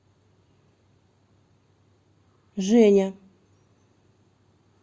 женя